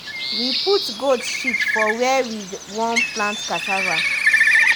we put goat shit for where we won plant cassava.